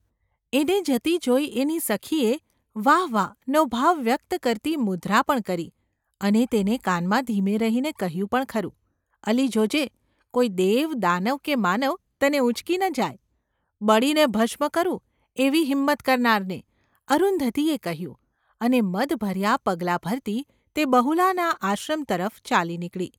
એને જતી જોઈ એની સખીએ ‘વાહ વાહ !’ નો ભાવ વ્યક્ત કરતી મુદ્રા પણ કરી અને તેને કાનમાં ધીમે રહીને કહ્યું પણ ખરું: ‘અલી જોજે, કોઈ દેવ, દાનવ કે માનવ તને ઊંચકી ન જાય !’​ ‘બળીને ભસ્મ કરું, એવી હિંમત કરનારને !’ અરુંધતીએ, કહ્યું અને મદભર્યા પગલાં ભરતી તે બહુલાના આશ્રમ તરફ ચાલી નીકળી.